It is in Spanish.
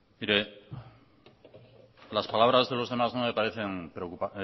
mire las palabras de los demás no me parecen